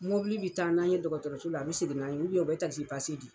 Mobili bɛ taa n'an ye dɔgɔtɔrɔso la a bɛ segin n'an ye o bɛ di.